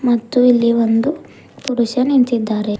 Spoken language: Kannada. ಮತ್ತು ಇಲ್ಲಿ ಒಂದು ಪುರುಷ ನಿಂತಿದ್ದಾರೆ.